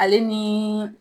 Ale ni